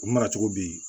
U mara cogo bi